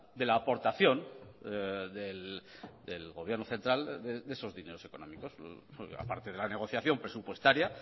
de la aportación del gobierno central de esos dineros económicos aparte de la negociación presupuestaria